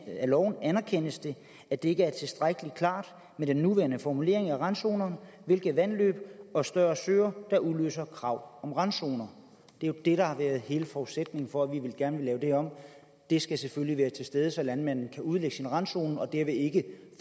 af loven anerkendes det at det ikke er tilstrækkelig klart med den nuværende formulering af randzonerne hvilke vandløb og større søer der udløser krav om randzoner det er jo det der har været hele forudsætningen for at vi gerne vil lave det her om det skal selvfølgelig være til stede så landmanden kan udlægge sin randzone og derved ikke